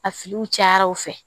A filiw cayara u fɛ